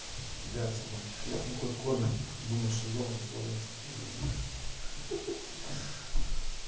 кидай собаки хлеб хоть кормят думаю что дома никого нету з